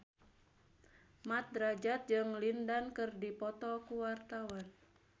Mat Drajat jeung Lin Dan keur dipoto ku wartawan